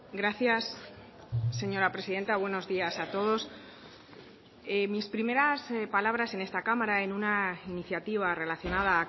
gracias señora presidenta buenos días a todos mis primeras palabras en esta cámara en una iniciativa relacionada